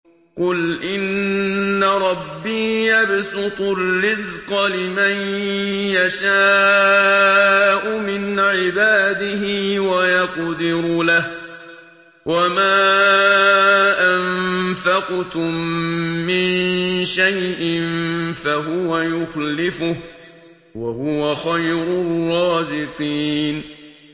قُلْ إِنَّ رَبِّي يَبْسُطُ الرِّزْقَ لِمَن يَشَاءُ مِنْ عِبَادِهِ وَيَقْدِرُ لَهُ ۚ وَمَا أَنفَقْتُم مِّن شَيْءٍ فَهُوَ يُخْلِفُهُ ۖ وَهُوَ خَيْرُ الرَّازِقِينَ